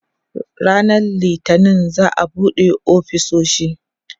ranan littani za'a buɗe ofisoshi